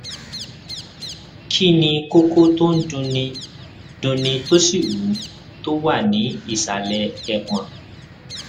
kí ni kókó tó ń dunni dunni tó sì wú tó wà ní ìsàlẹ ẹpọn